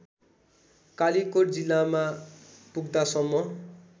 कालीकोट जिल्लामा पुग्दासम्म